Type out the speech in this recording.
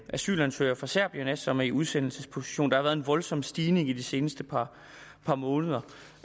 asylansøgere fra serbien som er i udsendelsesposition der har været en voldsom stigning i de seneste par par måneder